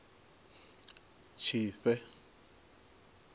tshifhe